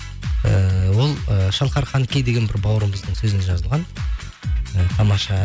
ііі ол і шалқар қанкей деген бір бауырымыздың сөзіне жазылған і тамаша